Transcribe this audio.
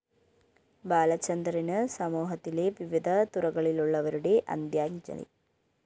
ബാലചന്ദറിന് സമൂഹത്തിലെ വിവിധ തുറകളിലുള്ളവരുടെ അന്ത്യാഞ്ജലി